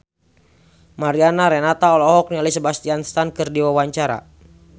Mariana Renata olohok ningali Sebastian Stan keur diwawancara